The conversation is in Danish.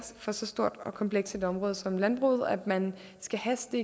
for så stort og komplekst et område som landbruget at man skal haste